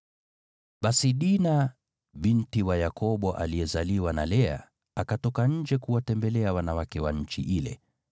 Basi Dina, binti wa Yakobo aliyezaliwa na Lea, akatoka nje kuwatembelea wanawake wa nchi ile.